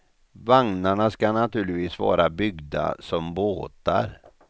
Vagnarna skall naturligtvis vara byggda som båtar.